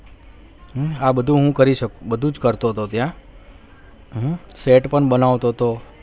આ બધું હું કરી શક બધું જ કરતો હતો ત્યાં set પણ બનાવતો હતો.